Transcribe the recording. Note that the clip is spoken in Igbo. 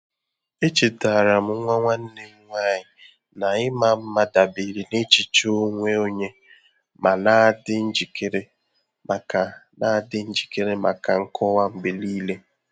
E chetaara m nwa nwanne m nwanyị na ịma mma dabere na echiche onwe onye ma na-adị njikere maka na-adị njikere maka nkọwa mgbe niile.